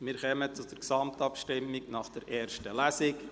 Wir kommen zur Gesamtabstimmung nach der ersten Lesung.